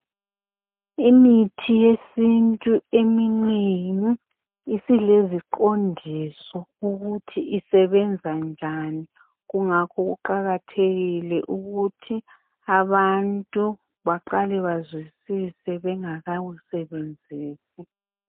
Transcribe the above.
Imithi yesintu eminengi isileziqondiso ukuthi usebenza njani, kungakho kuqakathekile ukuthi abantu baqale bazwisise bengakawusebenzisi.